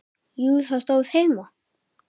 Jú, það stóð heima.